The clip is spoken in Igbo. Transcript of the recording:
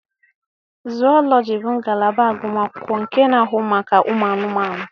Zuulọji bụ ngalaba agụmakwụkwọ nke na-ahụ maka ụmụ anụmanụ.